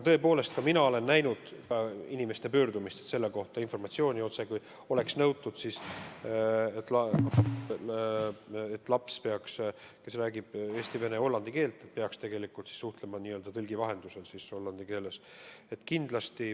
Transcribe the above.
Tõepoolest, ka mina olen näinud inimeste pöördumist, informatsiooni selle kohta, otsekui oleks nõutud, et laps, kes räägib eesti, vene ja hollandi keelt, peaks tegelikult suhtlema n-ö tõlgi vahendusel hollandi keeles.